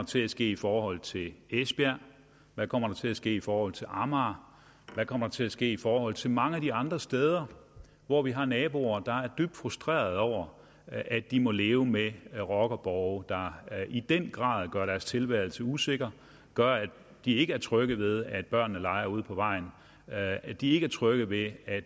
til at ske i forhold til esbjerg hvad kommer der til at ske i forhold til amager hvad kommer til at ske i forhold til mange af de andre steder hvor vi har naboer der er dybt frustrerede over at de må leve med rockerborge der i den grad gør deres tilværelse usikker gør at de ikke er trygge ved at børnene leger ude på vejen at de ikke er trygge ved at